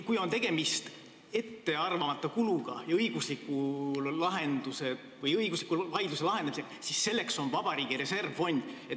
Kui on tegemist ettearvamatu kuluga ja õigusliku vaidluse lahendamisega, siis selleks on olemas valitsuse reservfond.